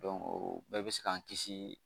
o bɛɛ bɛ se k'an kisi